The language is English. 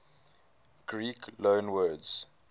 greek loanwords